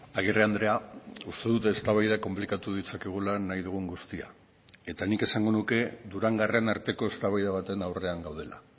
agirre andrea uste dut eztabaida konplikatu ditzakegula nahi dugun guztia eta nik esango nuke durangarren arteko eztabaida baten aurrean gaudela